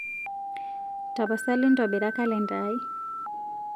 tapasali ntobira kalenda aai